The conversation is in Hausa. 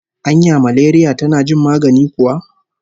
Anya maleriya tana jin magani kuwa?